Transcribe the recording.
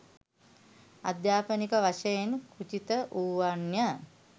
අධ්‍යාපනික වශයෙන් කුජිත වුවන්ය